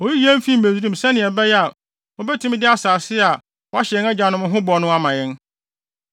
Oyii yɛn fii Misraim sɛnea ɛbɛyɛ a, obetumi de asase a wahyɛ yɛn agyanom ho bɔ no ama yɛn.